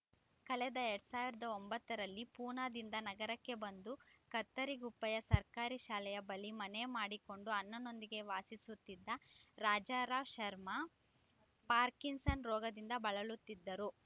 ಕಳೆದ ಎರಡ್ ಸಾವಿರದ ಒಂಬತ್ತರಲ್ಲಿ ಪೂನಾದಿಂದ ನಗರಕ್ಕೆ ಬಂದು ಕತ್ತರಿಗುಪ್ಪೆಯ ಸರ್ಕಾರಿ ಶಾಲೆಯ ಬಳಿ ಮನೆ ಮಾಡಿಕೊಂಡು ಅಣ್ಣನೊಂದಿಗೆ ವಾಸಿಸುತ್ತಿದ್ದ ರಾಜಾರಾವ್ ಶರ್ಮ ಪಾರ್ಕಿನ್‌ಸನ್ ರೋಗದಿಂದ ಬಳಲುತ್ತಿದ್ದರು